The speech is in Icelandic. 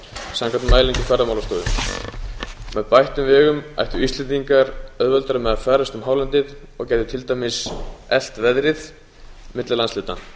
samkvæmt mælingum ferðamálastofu með bættum vegum ættu íslendingar auðveldara með að ferðast um hálendið og gætu til dæmis elt veðrið milli landshluta